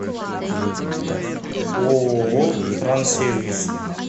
ооо транссервис